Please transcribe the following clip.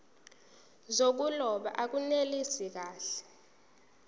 zokuloba akunelisi kahle